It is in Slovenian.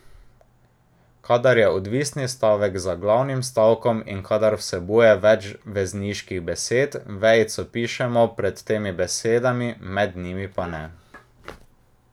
Kadar je odvisni stavek za glavnim stavkom in kadar vsebuje več vezniških besed, vejico pišemo pred temi besedami, med njimi pa ne.